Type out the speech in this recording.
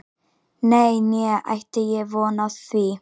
Nei, né ætti ég von á því